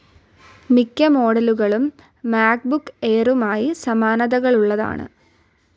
മിക്ക മോഡലുകളും മാക്ബുക്ക് എയറുമായി സമാനതകളുള്ളതാണ്.